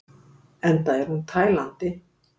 Enda er hún tælandi!